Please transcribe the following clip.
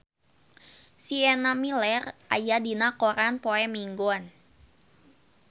Sienna Miller aya dina koran poe Minggon